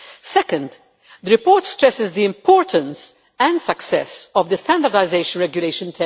Second, the report stresses the importance and success of the Standardisation Regulation